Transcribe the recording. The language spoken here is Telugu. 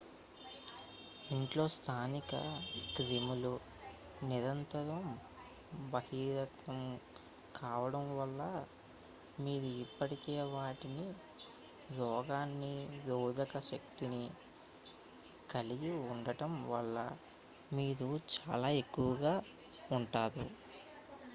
ఇంట్లో స్థానిక క్రిములకు నిరంతరం బహిర్గతం కావడం వల్ల మీరు ఇప్పటికే వాటికి రోగనిరోధక శక్తి కలిగి ఉండటం వల్ల మీరు చాలా ఎక్కువగా ఉంటారు